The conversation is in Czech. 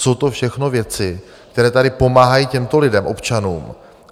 Jsou to všechno věci, které tady pomáhají těmto lidem, občanům.